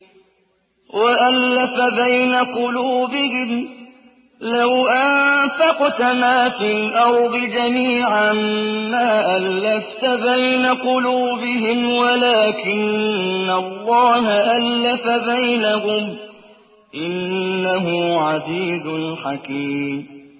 وَأَلَّفَ بَيْنَ قُلُوبِهِمْ ۚ لَوْ أَنفَقْتَ مَا فِي الْأَرْضِ جَمِيعًا مَّا أَلَّفْتَ بَيْنَ قُلُوبِهِمْ وَلَٰكِنَّ اللَّهَ أَلَّفَ بَيْنَهُمْ ۚ إِنَّهُ عَزِيزٌ حَكِيمٌ